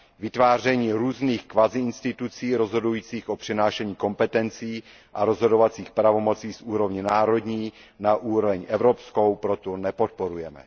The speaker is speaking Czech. Vytváření různých kvazi institucí rozhodujících o přenášení kompetencí a rozhodovacích pravomocí z úrovně národní na úroveň evropskou proto nepodporujeme.